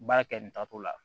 Baara kɛ nin taatɔ la